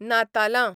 नातालां